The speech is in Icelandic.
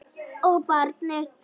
Og barnið.